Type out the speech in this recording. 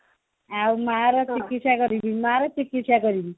ଆଉ ମାର ଚିକିସ୍ଥା କରିବି ମା ର ଚିକିସ୍ଥା କରିବି